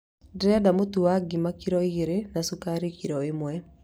Ndĩrenda mũtu wa ngima kiro igĩrĩ na cukari kiro ĩmwe